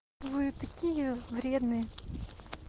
вы такие вредные